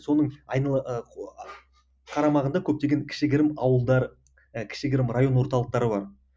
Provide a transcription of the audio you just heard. соның қарамағында көптеген кішігірім ауылдар і кішігірім район орталықтары бар